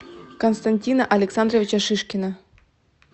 константина александровича шишкина